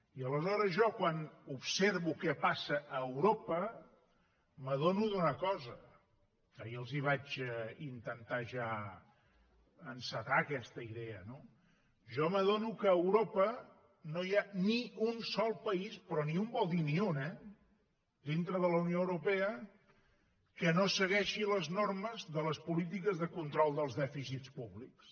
i aleshores jo quan observo què passa a europa m’adono d’una cosa que ahir els vaig intentar ja encetar aquesta idea jo m’adono que a europa no hi ha ni un sol país però ni un vol dir ni un eh dintre de la unió europea que no segueixi les normes de les polítiques de control dels dèficits públics